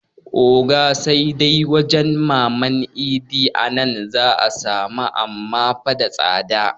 Oga sai dai wajan maman idi a nan za 'a samu amma fa da tsada